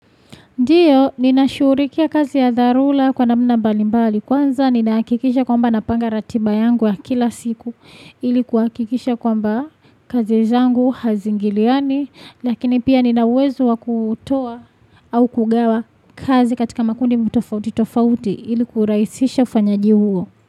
Ndiyo, nina shughulikia kazi ya dharura kwa namna mbalimbali. Kwanza, ninahakikisha kwamba napanga ratiba yangu ya kila siku. Ili kuhakikisha kwamba kazi zangu haziingiliani. Lakini pia nina uwezo wa kuutoa au kugawa kazi katika makundi tofauti tofauti ili kurahisisha ufanyaji huo.